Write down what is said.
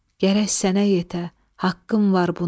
Gərək sənə yetə haqqım var buna.